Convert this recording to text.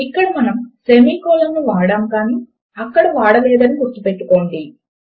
ఇక్కడ మనము semicolon ను వాడాము కానీ అక్కడ వాడలేదు అని గుర్తు పెట్టుకోండి